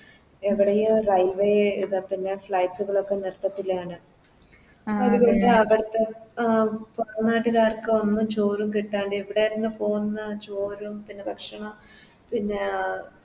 എവിടെയോ Railway ഇത് പിന്നെ Flight കളോക്കെ നിർത്തത്തില്ലാന്നു അതുകൊണ്ട് അവിടുത്തെ പൊറം നാട്ടിലെ ആർക്കു ഒന്നും ചോറും കിട്ടാണ്ട് ഇവിടെന്ന് പോകുന്ന ചോറും പിന്നെ ഭക്ഷണോം പിന്നെ